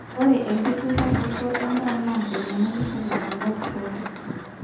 ore enkituraroto endaa naa enyamali sapuk tenkop pooki